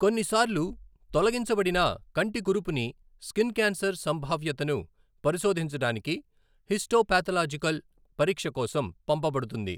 కొన్నిసార్లు తొలగించబడిన కంటికురుపుని, స్కిన్ క్యాన్సర్ సంభావ్యతను పరిశోధించడానికి హిస్టోపాథలాజికల్ పరీక్ష కోసం పంపబడుతుంది.